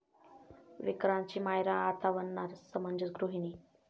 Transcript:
विक्रांतची 'मायरा' आता बनणार समंजस गृहिणी